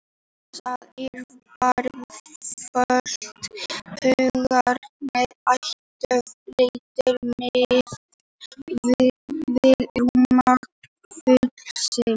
Til þess er yfirborðsflötur húðarinnar alltof lítill miðað við rúmmál fílsins.